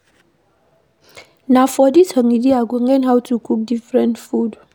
Na for dis holiday I go learn how to cook different food